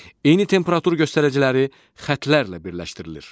Eyni temperatur göstəriciləri xətlərlə birləşdirilir.